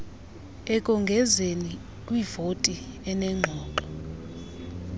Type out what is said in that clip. ekongezeni kwivoti enengxoxo